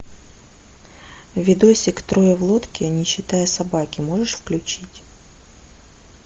видосик трое в лодке не считая собаки можешь включить